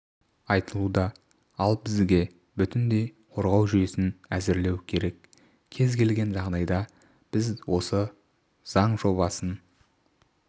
айтылуда ал бізге бүтіндей қорғау жүйесін әзірлеу керек кез келген жағдайда біз осы заң жобасын